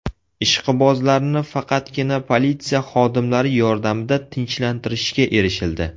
Ishqibozlarni faqatgina politsiya xodimlari yordamida tinchlantirishga erishildi.